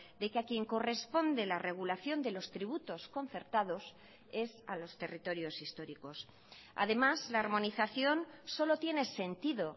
de que a quien corresponde la regulación de los tributos concertados es a los territorios históricos además la armonización solo tiene sentido